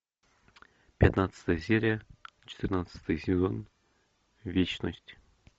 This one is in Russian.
пятнадцатая серия четырнадцатый сезон вечность